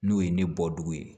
N'o ye ne bɔ dugu ye